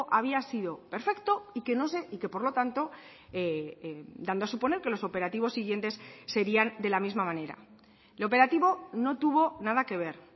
había sido perfecto y que no se y que por lo tanto dando a suponer que los operativos siguientes serían de la misma manera el operativo no tuvo nada que ver